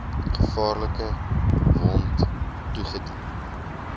gevaarlike wond toegedien